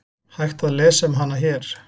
Hægt að lesa um hana hér.